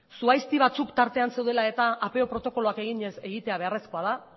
zuhaizti batzuk tartean zeudela eta apeo protokoloak eginez egitea beharrezkoa da